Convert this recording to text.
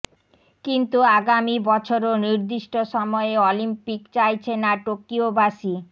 কিন্তু আগামি বছরও নির্দিষ্ট সময়ে অলিম্পিক চাইছে না টোকিওবাসী